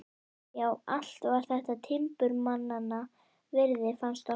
Já, allt var þetta timburmannanna virði, fannst okkur.